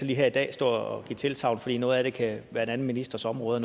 lige her i dag stå og give et tilsagn for noget af det kan være en anden ministers område